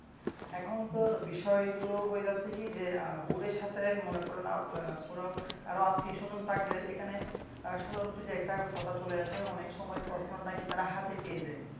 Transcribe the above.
এখনতো বিষয়গুলি হয়ে যাচ্ছেকি যে বোর্ডের সাথে মনে করেন কারো আত্মীয়স্বজন থাকলে এখানে আহ স্বজনপ্রীতি একটা কথা চলে আসে অনেকসময় প্রশ্ন নাকি তারা হাতে পেয়ে যায়